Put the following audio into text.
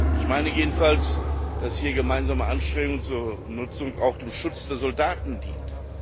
Ich meine jedenfalls, dass hier gemeinsame Anstrengungen zur Nutzung auch dem Schutz der Soldaten dient.